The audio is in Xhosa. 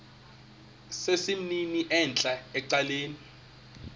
sesimnini entla ecaleni